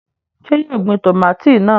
Ṣé yóò gbin tòmátì náà?